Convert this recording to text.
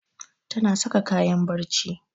Ta saka kayan barci